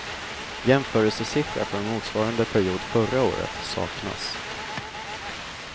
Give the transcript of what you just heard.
Jämförelsesiffra från motsvarande period förra året saknas.